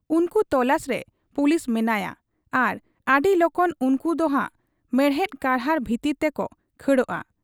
ᱩᱱᱠᱩ ᱛᱚᱞᱟᱥᱨᱮ ᱯᱩᱞᱤᱥ ᱢᱮᱱᱟᱭᱟᱸ ᱟᱨ ᱟᱹᱰᱤ ᱞᱚᱜᱚᱱ ᱩᱱᱠᱩ ᱫᱚᱱᱷᱟᱜ ᱢᱮᱬᱦᱮᱫ ᱠᱟᱨᱦᱟᱲ ᱵᱷᱤᱛᱤᱨ ᱛᱮᱠᱚ ᱠᱷᱟᱹᱲᱩᱜ ᱟ ᱾